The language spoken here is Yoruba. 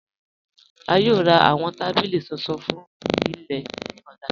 A yòò rá awọn tabílí tuntun fún ilẹ̀ ni ọ̀là.